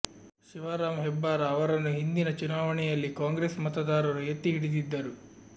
ಶಿವರಾಮ ಹೆಬ್ಬಾರ ಅವರನ್ನು ಹಿಂದಿನ ಚುನಾವಣೆಯಲ್ಲಿ ಕಾಂಗ್ರೆಸ್ ಮತದಾರರು ಎತ್ತಿ ಹಿಡಿದಿದ್ದರು